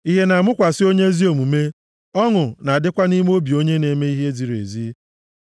Ìhè na-amụkwasị onye ezi omume, ọṅụ na-adịkwa nʼime obi onye na-eme ihe ziri ezi.